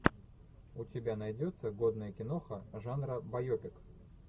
у тебя найдется годная киноха жанра байопик